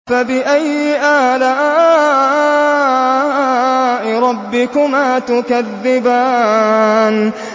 فَبِأَيِّ آلَاءِ رَبِّكُمَا تُكَذِّبَانِ